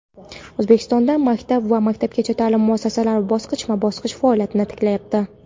O‘zbekistonda maktab va maktabgacha ta’lim muassasalari bosqichma-bosqich faoliyatini tiklayapti.